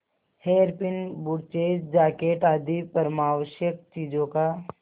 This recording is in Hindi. हेयरपिन ब्रुचेज जाकेट आदि परमावश्यक चीजों का